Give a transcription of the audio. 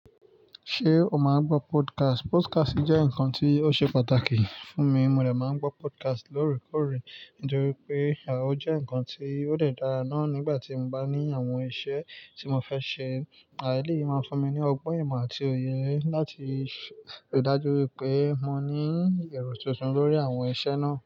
Ṣé o máa ń gbọ́ podcast? Podcast jẹ́ nǹkan tí ó ṣe pàtàkì fún mi. Mo dẹ̀ máa ń gbọ́ podcast lóòrèkóòrè torí pé òun jẹ́ nǹkan tí ó dára náà nígbà tí mo bá ní àwọn iṣẹ́ tí mo fẹ́ ṣe. À eléyii máa fún mi ní ọgbọ́n ìmọ̀ àti òye láti rí dájú wípé mo ní èrò tuntun lórí àwọn iṣẹ́ náà.